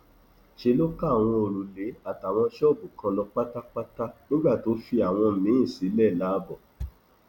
ṣe ló ká àwọn òrùlé ilé àtàwọn ṣọọbù kan lọ pátápátá nígbà tó fi àwọn míín sílẹ láàbò